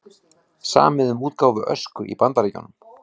Samið um útgáfu Ösku í Bandaríkjunum